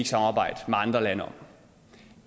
samarbejde med andre lande om